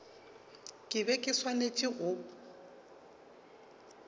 ke be ke swanetše go